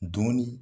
Dɔnni